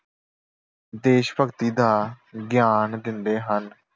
ਦੇਸ਼ ਭਗਤੀ ਦਾ ਗਿਆਨ ਦਿੰਦੇ ਹਨ।